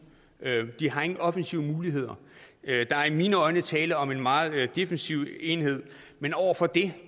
de har ingen offensive muligheder der er i mine øjne tale om en meget defensiv enhed men over for det